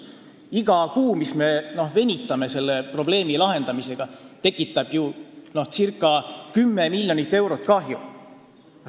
Iga kuu, mis me venitame selle probleemi lahendamisega, tekitab circa 10 miljonit eurot kahju.